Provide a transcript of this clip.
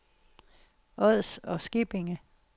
Ods og Skippinge